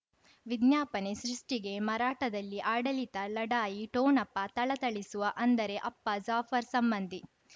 ವಿಜ್ಞಾಪನೆ ಸೃಷ್ಟಿಗೆ ಮರಾಠದಲ್ಲಿ ಆಡಳಿತ ಲಢಾಯಿ ಠೋಣಪ ಥಳಥಳಿಸುವ ಅಂದರೆ ಅಪ್ಪ ಜಾಫರ್ ಸಂಬಂಧಿ